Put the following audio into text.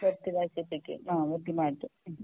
വെട്ടി നശിപ്പിക്കും ആ വെട്ടി മാറ്റും